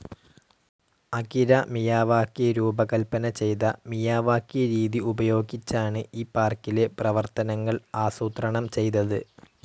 Akira Miyawaki രൂപകൽപ്പന ചെയ്ത Miyawaki രീതി ഉപയോഗിച്ചാണ് ഈ പാർക്കിലെ പ്രവർത്തനങ്ങൾ ആസൂത്രണം ചെയ്തത്.